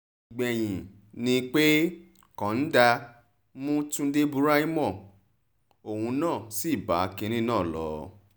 ìgbẹ̀yìn ni pé kọ́ńdà mú túnde buraiho òun náà sí bá kinní náà lọ